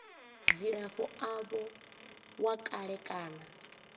dzilafho avho wa kale kana